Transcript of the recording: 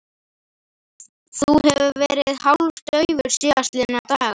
Þú hefur verið hálfdaufur síðastliðna daga